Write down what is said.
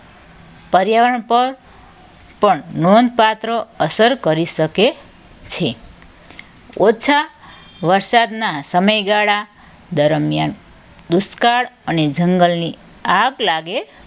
પર્યાવરણ પર પણ નોંધપાત્ર અસર કરી શકે છે. ઓછા વરસાદના સમયે ગાળા દરમિયાન દુષ્કાળ અને જંગલને આગ લાગે